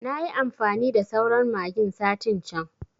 Nayi amfani da sauran magin satin can